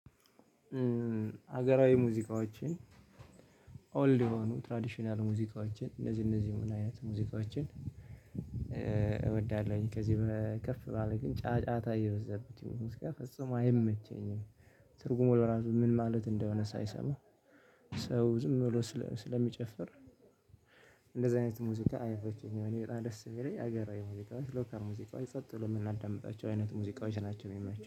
ሀገራዊ ሙዚቃዎችን ኦልድ የሆኑ ትራዲሽናል ሙዚቃዎችን እነዚህ እነዚህ ምን አይነት ሙዚቃችን እ እወዳለሁኝ ከዚህ በከፍ ባለ ግን ጫጫታ እ የበዛበት ሙዚቃ ፈጽሞ አይመቸኝም። ትርጉሙ ለራሱ ምን ማለት እንደሆነ ሳይሰማ ሰው ዝም ብሎ ስለ ስለሚጨፍር እንደዚህ አይነት ሙዚቃ አይመቼኝም። እኔ በጣም ደስ ሚለኝ ሀገራዊ ሙዚቃዎች ሎካል ሙዚቃዎች ጸጥ ብለን ምናዳምጣቸው አይነት ሙዚቃዎች ናቸው የሚመቸው